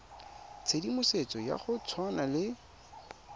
tshedimosetso ya go tshwana le